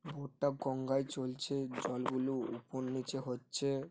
Boat -টা গঙ্গায় চলছে জলগুলো উপর নিচে হচ্ছে।